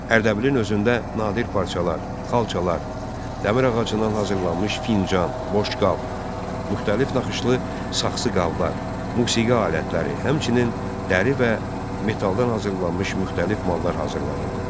Ərdəbilin özündə nadir parçalar, xalçalar, dəmir ağacından hazırlanmış fincan, boşqab, müxtəlif naxışlı saxsı qablar, musiqi alətləri, həmçinin dəri və metaldan hazırlanmış müxtəlif mallar hazırlanırdı.